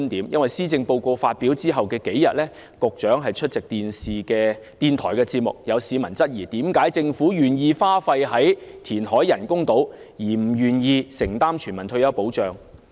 因為施政報告發表後的數天，局長出席電視電台節目時，有市民質疑，為何政府願意花費在填海興建人工島上，卻不願意承擔全民退休保障。